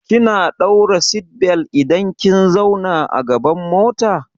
Kina daura seatbelt idan kin zauna a gaban mota.